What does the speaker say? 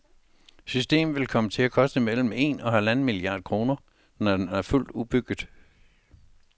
Systemet vil komme til at koste mellem en og halvanden milliard kroner, når det er fuldt udbygget.